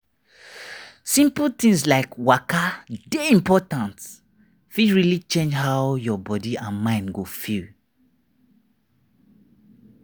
simple things like waka dey important fit really change how your body and mind go feel.